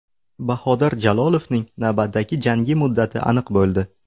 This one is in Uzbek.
Bahodir Jalolovning navbatdagi jangi muddati aniq bo‘ldi.